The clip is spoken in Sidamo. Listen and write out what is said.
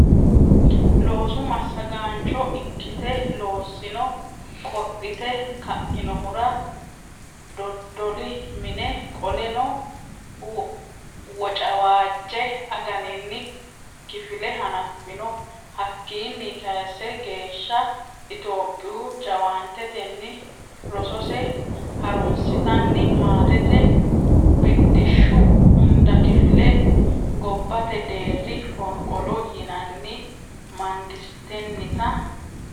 loosu massagaancho ikkite loossino qodhite ka inohura Dodoli mine Qoleno Wocawaajje aganinni kifile hanaffino Hakkiinni kayisse geeshsha Itophiyu jaawaantetenni rosose ha runsitanni maatete Biddishshi hunda kifile gobbate deerri fonqolo yinanni mangistennita.